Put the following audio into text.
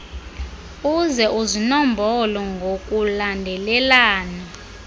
uze uzinombole ngokulandelelana